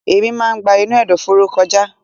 Èémí máa ń gba inú ẹ̀dọ̀fóró kọjá.